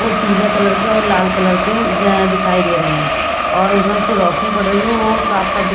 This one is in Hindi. वो पीले कलर के और लाल कलर के द दिखाई दे रहे हैं और उधर से रोशनी पड़ रही है वो साफ-साफ-- --